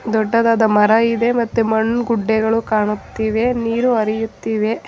ದೊಡ್ಡದಾದ ಮರ ಇದೆ ಮತ್ತೆ ಮಣ್ಣ ಗುಡ್ಡೆಗಳು ಕಾಣುತ್ತಿವೆ ನೀರು ಹರಿಯುತ್ತಿವೆ.